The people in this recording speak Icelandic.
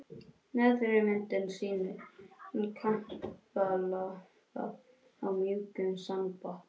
Neðri myndin sýnir kampalampa á mjúkum sandbotni.